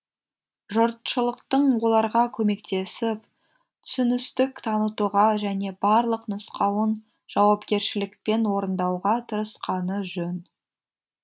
жұртшылықтың оларға көмектесіп түсіністік танытуға және барлық нұсқауын жауапкершілікпен орындауға тырысқаны жөн